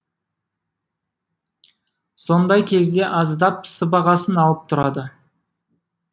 сондай кезде аздап сыбағасын алып тұрады